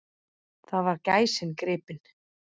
Þar var gæsin gripin.